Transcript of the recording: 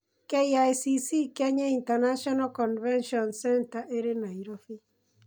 KICC (Kenyatta International Convention Centre) ĩrĩ Nairobi.